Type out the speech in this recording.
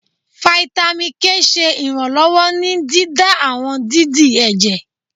Fáítámì K ṣe iranlọwọ ní dídá àwọn dídì ẹjẹ